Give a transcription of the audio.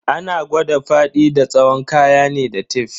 Ana kwada faɗi da tsawon kaya ne da tef.